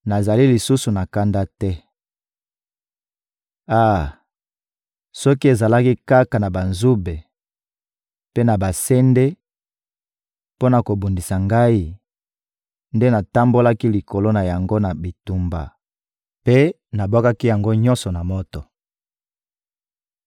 Nazali lisusu na kanda te. Ah, soki ezalaki kaka na banzube mpe na basende mpo na kobundisa Ngai, nde natambolaki likolo na yango na bitumba mpe nabwakaki yango nyonso na moto.